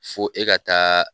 Fo e ka taa